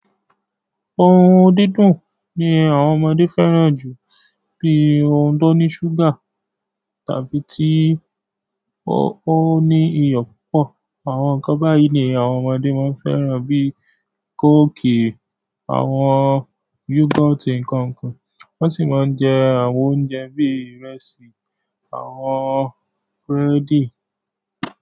Ohun dídùn ní àwọn ọmọdé fẹ́ràn jù bí ohun tó ní ṣúgà tàbí tí ó ní iyọ̀ púpọ̀. Àwọn ǹkan báyìí ni àwọn ọmọdé máa ń fẹ́ràn bíi kóòkì, àwọn yúgọ́ọ̀tì nǹkan ǹkan, wọ́n sì máa ń jẹ àwọn oúnjẹ bíi ìrẹsì, àwọn búrẹ́dì.